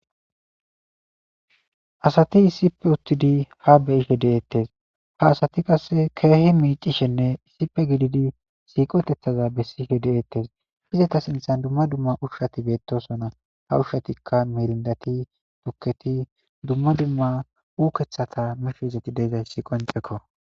asati issipe uttidi ha beyishe deettes ha asati qasse keehi miicishenne issipe gididi siiqotethaza bessihe deeettes izeta sinthan dumma dumma ushshati beettosona ha ushshatikka mirindati tukketi dumma dumma uukeththata mishe izeti deeizayssi qoncekko